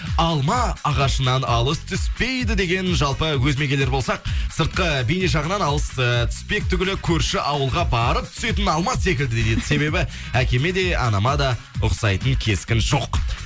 алма ағашынан алыс түспейді деген жалпы өз мегелер болсақ сыртқы бейне жағынан алыс э түспек түгелі көрші ауылға барып түсетін алма секілді дейді себебі әкеме де анама да ұқсайтын кескін жоқ